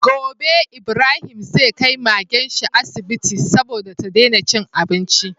Gobe Ibrahim zai kai Magenshi asibiti saboda ta dena cin abinci